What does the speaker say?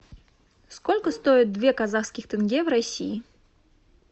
сколько стоит две казахских тенге в россии